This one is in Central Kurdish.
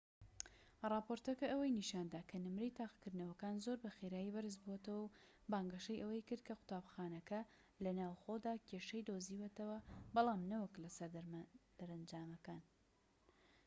ڕاپۆرتەکە ئەوەی نیشاندا کە نمرەی تاقیکردنەوەکان زۆر بە خێرایی بەرز بۆتەوە و بانگەشەی ئەوەی کرد کە قوتابخانەکە لە ناوخۆدا کێشەی دۆزیوەتەوە بەڵام نەوەک لە سەر دەرەنجامەکان